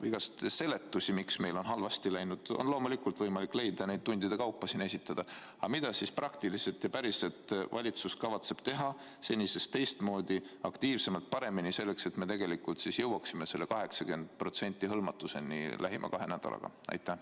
Igasuguseid seletusi, miks meil on halvasti läinud, on loomulikult võimalik leida ja neid tundide kaupa siin esitada, aga mida praktiliselt ja päriselt valitsus kavatseb teha senisest teistmoodi, aktiivsemalt, paremini, selleks et me tegelikult jõuaksime 80% hõlmatuseni lähima kahe nädalaga?